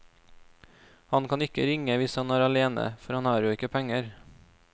Han kan ikke ringe hvis han er alene, for han har jo ikke penger.